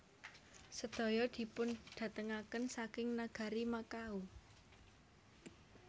Sedaya dipundhatengaken saking nagari Makao